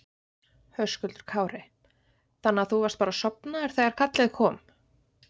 Höskuldur Kári: Þannig að þú varst bara sofnaður þegar kallið kom?